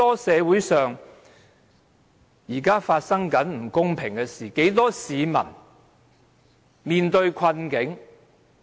社會上現正發生許多不公平的事情，很多市民正在面對困境。